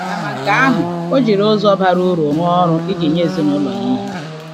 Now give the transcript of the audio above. Kama nke ahụ, o jiri ụzọ bara uru rụọ ọrụ iji nye ezinụlọ ya ihe.